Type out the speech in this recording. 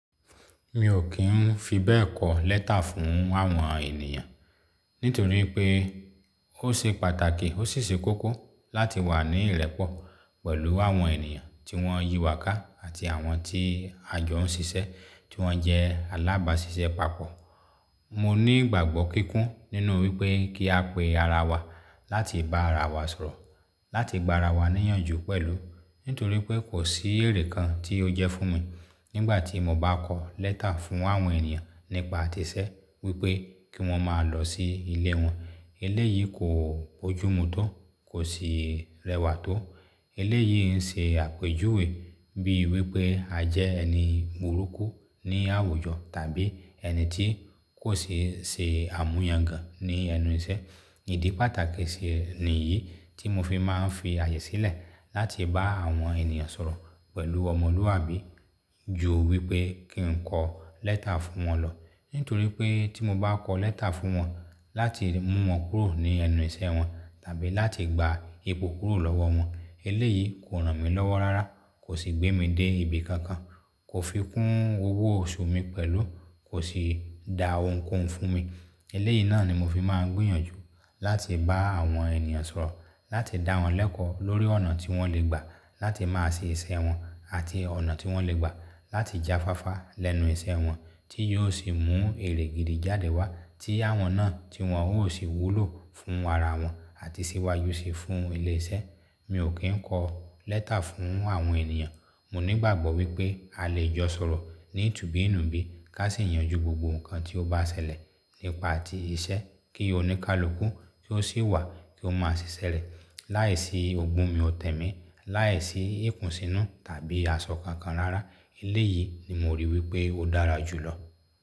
Mi ò kí ń fi bẹ́ẹ̀ kọ lẹ́tà fún àwọn ènìyàn. Nítorí pé ó ṣe pàtàkì, ó sì ṣe kókó láti wà ní ìrẹ́pọ̀ pẹ̀lú àwọn ènìyàn tí wọ́n yí wà ká àti àwọn tí à jọ ń ṣiṣẹ́ tí wọ́n jẹ́ alábàáṣiṣẹ́ papọ̀. Mo ní ìgbàgbọ́ kíkún nínú wípé kí a pe ara wa láti bá ara wa sọ̀rọ̀, láti gba ara wa níyànjú pẹ̀lú. Nítorí pé kò sí èrè kan tí ó jẹ́ fún mi nígbà tí mo bá kọ lẹ́tà fún àwọn ènìyàn nípa ti iṣẹ́ wípé kí wọ́n máa lọ sí ilé wọn. Eléyìí kò bójúmu tó, kò sì rẹwà tó. Eléyìí ń ṣe àpèjúwe bí wípé a jẹ́ ẹni burúkú ní àwùjọ tàbí ẹni tí kò ṣe ṣe àmúyàngan ní ẹnu iṣẹ́. Ìdí pàtàkì ṣi nìyí tí mo fi máa ń fi àyè sílẹ̀ láti bá àwọn ènìyàn sọ̀rọ̀ pẹ̀lú ọmọlúwàbí ju wípé kí n kọ lẹ́tà fún wọn lọ. Nítorí pé tí mo bá kọ lẹ́tà fún wọn láti mú wọn kúrò ní ẹnu iṣẹ́ wọn tàbí láti gba ipò kúrò lọ́wọ́ wọn, eléyìí kò ràn mí lọ́wọ́ rárá, kò sì gbé mi dé ibi kankan, kò fi kún owó oṣù mi pẹ̀lú, kò sì da ohunkóhun fún mi. Eléyìí náà ni mo fi máa ń gbìyànjú láti bá àwọn ènìyàn sọ̀rọ̀, láti dá wọn lẹ́kọ̀ọ́ lórí ọ̀nà tí wọ́n lè gbà láti máa ṣe iṣẹ́ wọn àti ọ̀nà tí wọ́n lè gbà láti jáfáfá lẹ́nu iṣẹ́ wọn tí yóò sì mú èrè gidi jáde wá tí àwọn náà tí wọn ó sì wúlò fún ara wọn àti ṣíwájú sì fún ilé iṣẹ́. Mi ò kí ń kọ lẹ́tà fún àwọn ènìyàn. Mo ní ìgbàgbọ́ wípé a lè jọ sọ̀rọ̀ ní tùbí nùbí ká sì yanjú gbogbo nǹkan tí ó bá ṣẹlẹ̀ nípa ti iṣẹ́ kí oníkálukú ki ó sì wà kí ó máa sì ṣẹlẹ̀ láìsí o gún mi ò tẹ́ mi, láìsí ìkùnsínú tàbí àsọ kankan rárá. Eléyìí ni mo rí wípé ó dára jù lọ.